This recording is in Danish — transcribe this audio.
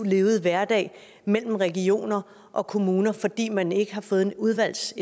levede hverdag mellem regioner og kommuner fordi man ikke har fået et udvalgs